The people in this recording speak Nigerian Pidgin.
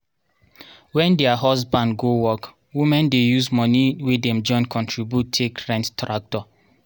wen their husband go work women dey use moni wey dem join contribute take rent tractor.